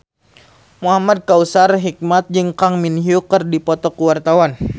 Muhamad Kautsar Hikmat jeung Kang Min Hyuk keur dipoto ku wartawan